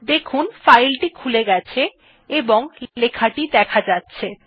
দেখুন ফাইল টি খুলে গেছে এবং আমাদের লেখা টেক্সট টি দেখা যাচ্ছে